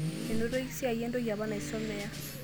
Enoto esiai entoki apa nasumia